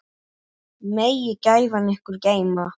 Megi gæfan ykkur geyma.